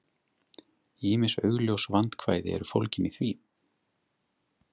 Ýmis augljós vandkvæði eru fólgin í því.